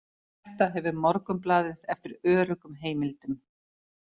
Þetta hefur Morgunblaðið eftir öruggum heimildum